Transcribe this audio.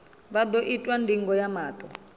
vha ḓo itwa ndingo ya maṱo